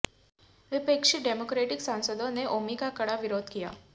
विपक्षी डेमोक्रेटिक सांसदों ने नेओमी का कड़ा विरोध किया